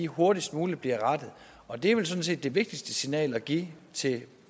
hurtigst muligt bliver rettet og det er vel sådan set det vigtigste signal at give til